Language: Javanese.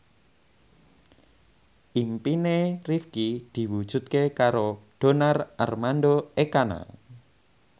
impine Rifqi diwujudke karo Donar Armando Ekana